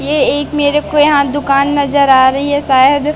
ये एक मेरे को यहां दुकान नजर आ रही है शायद--